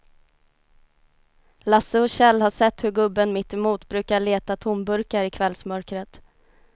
Lasse och Kjell har sett hur gubben mittemot brukar leta tomburkar i kvällsmörkret.